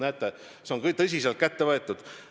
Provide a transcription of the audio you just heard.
Näete, see on tõsiselt kätte võetud.